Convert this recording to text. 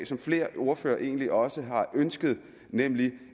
som flere ordførere egentlig også har ønsket nemlig